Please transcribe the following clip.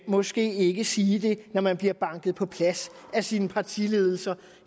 måske ikke sige det når man bliver banket på plads af sin partiledelse